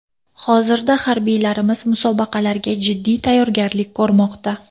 Hozirda harbiylarimiz musobaqalarga jiddiy tayyorgarlik ko‘rmoqda.